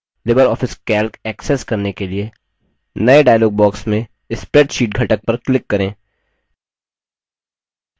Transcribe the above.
Libre office calc access करने के लिए नये dialog box में spreadsheet घटक पर click करें